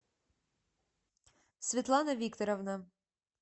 светлана викторовна